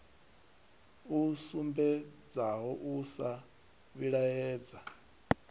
a sumbedzaho u sa vhilaedzwa